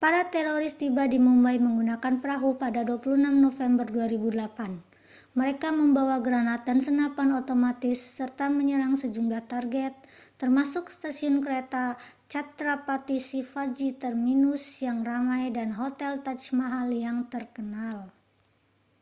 para teroris tiba di mumbai menggunakan perahu pada 26 november 2008 mereka membawa granat dan senapan otomatis serta menyerang sejumlah target termasuk stasiun kereta chhatrapati shivaji terminus yang ramai dan hotel taj mahal yang terkenal